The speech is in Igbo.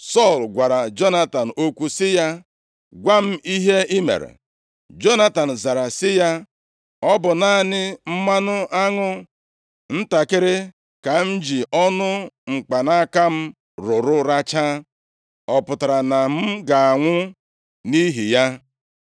Sọl gwara Jonatan okwu sị ya, “Gwa m ihe i mere.” Jonatan zara sị ya, “Ọ bụ naanị mmanụ aṅụ ntakịrị ka m ji ọnụ mkpanaka m rụrụ rachaa. Ọ pụtara na m ga-anwụ nʼihi ya?”